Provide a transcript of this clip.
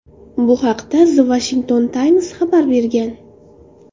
Bu haqda The Washington Times xabar bergan .